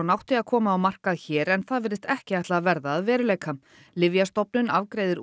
átti að koma á markað hér en það virðist ekki ætla að verða að veruleika Lyfjastofnun afgreiðir